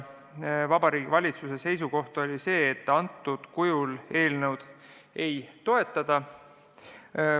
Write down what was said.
Vabariigi Valitsuse seisukoht on, et sellisel kujul eelnõu nad ei toetata.